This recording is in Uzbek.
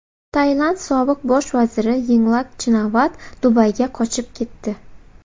Tailand sobiq bosh vaziri Yinglak Chinavat Dubayga qochib ketdi.